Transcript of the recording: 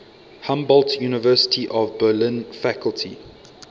humboldt university of berlin faculty